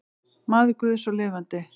Maður guðs og lifandi.